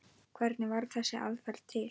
Hvernig varð þessi aðferð til?